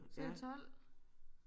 Så er det 12